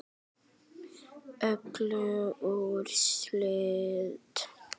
Öll úrslit